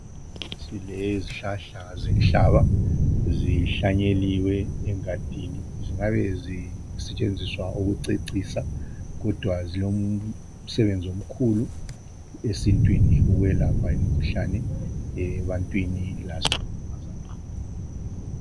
Silezihlahla zenhlaba zihlanyeliwe engadini, zingabe zisetshenziswa ukucecisa kodwa zilo msebenzi omkhulu esintwini, ukwelapha imkhuhlane ebantwini lase nyamazaneni.